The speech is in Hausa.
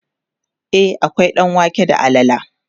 e akwai ɗanwake da alala